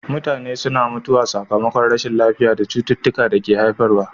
Mutane suna mutuwa sakamakon rashin lafiya da cututtuka ke haifarwa.